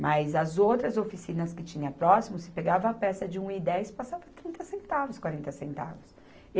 Mas as outras oficinas que tinha próximo, se pegava peça de um e dez, passava trinta centavos, quarenta centavos.